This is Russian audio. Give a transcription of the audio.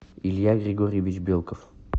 илья григорьевич белков